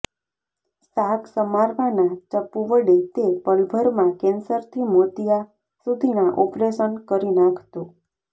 શાક સમારવાના ચપ્પુ વડે તે પલભરમાં કેન્સરથી મોતિયા સુધીના ઓપરેશન કરી નાંખતો